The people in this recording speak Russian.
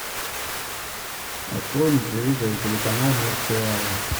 открой на телевизоре телеканал мир сериала